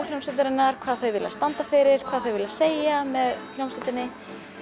hljómsveitarinnar hvað þau vilja standa fyrir hvað þau vilja segja með hljómsveitinni